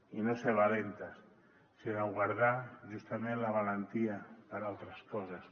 i no ser valentes sinó guardar justament la valentia per a altres coses